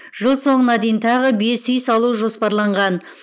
жыл соңына дейін тағы бес үй салу жоспарланған